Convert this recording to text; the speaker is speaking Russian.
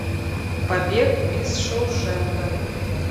побег из шоушенка